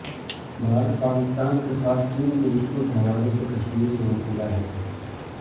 بھارت پاکستان کے ساتھ چین کے رشتوں کے حوالے سے تشویش میں مبتلا ہے